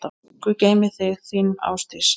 Guð geymi þig, þín, Ásdís.